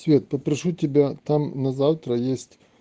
цвет попрошу тебя там на завтра есть